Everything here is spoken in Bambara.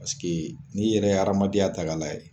paseke n'i yɛrɛ aramadenya ta k'a layɛ.